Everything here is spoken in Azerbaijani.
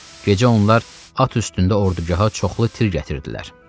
Gecə onlar at üstündə ordugaha çoxlu tir gətirdilər.